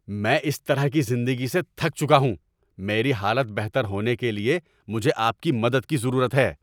میں اس طرح کی زندگی سے تھک چکا ہوں! میری حالت بہتر ہونے کے لیے مجھے آپ کی مدد کی ضرورت ہے!